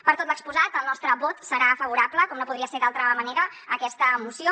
per tot lo exposat el nostre vot serà favorable com no podria ser d’altra manera a aquesta moció